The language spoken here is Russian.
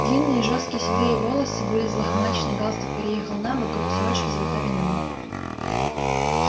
длинные жёсткие седые волосы были взлохмачены галстук переехал набок грудь сорочки залита вином